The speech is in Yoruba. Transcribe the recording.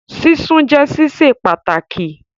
Sísun jẹ́ sísè pàtàkì